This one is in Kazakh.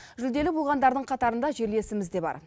жүлделі болғандардың қатарында жерлесіміз де бар